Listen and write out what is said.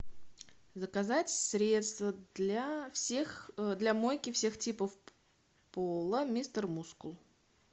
заказать средство для всех для мойки всех типов пола мистер мускул